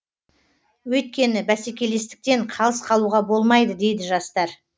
өйткені бәсекелестіктен қалыс қалуға болмайды дейді жастар